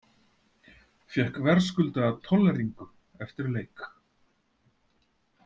Fékk verðskuldaða tolleringu eftir leik.